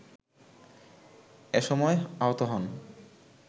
এসময় আহত হন